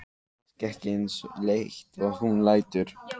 Er kannski ekki eins leitt og hún lætur.